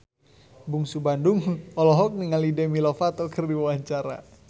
Bungsu Bandung olohok ningali Demi Lovato keur diwawancara